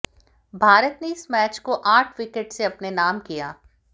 भारत ने इस मैच को आठ विकेट से अपने नाम किया